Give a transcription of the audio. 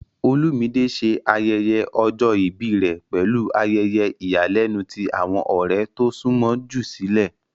Olumide ṣe ayẹyẹ ọjọ ibi rẹ pẹlu ayẹyẹ iyalẹnu ti awọn ọrẹ to sunmọ ju silẹ.